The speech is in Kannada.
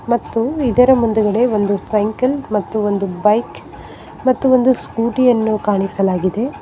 ಮತ್ತು ಇದರ ಮುಂದುಗಡೆ ಒಂದು ಸೈಕಲ್ ಮತ್ತು ಬೈಕ್ ಮತ್ತು ಒಂದು ಸ್ಕೂಟಿ ಯನ್ನು ಕಾಣಿಸಲಾಗಿದೆ.